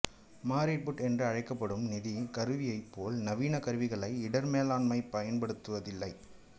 married put என்று அழைக்கப்படும் நிதி கருவியைப்போல் நவீன கருவிகளை இடர் மேலாண்மை பயன்படுத்துவதில்லை